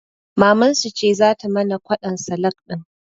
Mamansu ce zata mana kwaɗon salak ɗin